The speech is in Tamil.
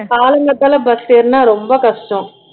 காலங்காத்தால bus ஏறுனா ரொம்ப கஷ்டம்